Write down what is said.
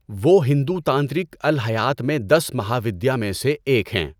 وہ ہندو تانترک الہیات میں دس مہاودیا میں سے ایک ہیں۔